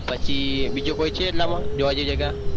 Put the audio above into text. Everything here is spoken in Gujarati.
પછી બીજો કોઈ છે એટલામાં જોવા જેવી જગ્યા?